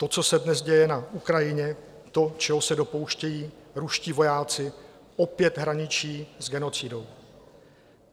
To, co se dnes děje na Ukrajině, to, čeho se dopouštějí ruští vojáci, opět hraničí s genocidou.